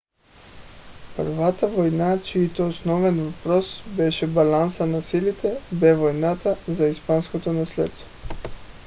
първата война чийто основен въпрос беше балансът на силите бе войната за испанското наследство